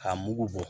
K'a mugu bɔ